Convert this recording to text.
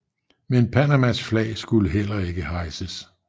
Men Panamas flag skulle heller ikke hejses